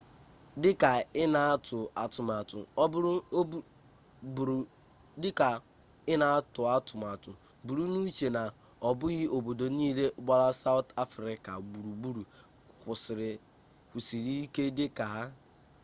dịka ị na-atụ atụmatụ buru n'uche na ọ bụghị obodo niile gbara sawụt afrịka gburugburu kwụsiri ike dịka ha